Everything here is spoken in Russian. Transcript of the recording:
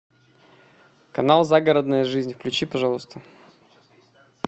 канал загородная жизнь включи пожалуйста